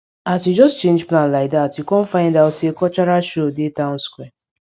as we just change plan like dat we com find out say cultural show dey town square